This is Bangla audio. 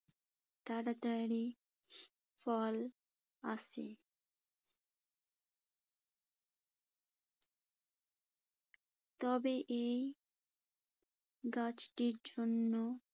তাড়াতাড়ি ফল আসে। তবে এই গাছটির জন্য